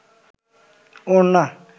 ওড়না